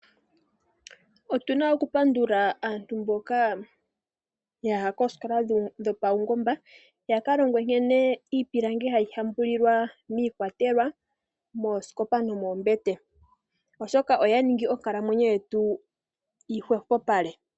Otuna okupandula aantu mboka yaya koosikola dhopawungomba yakalongwe nkene iipilangi hayi hambulilwa miikwatelwa, moosikopa nomoombete oshoka oyaningi onkalamwenyo yetu yi hwepopale.